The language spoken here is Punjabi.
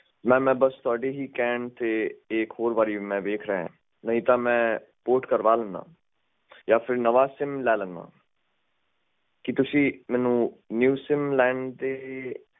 portsimnew sim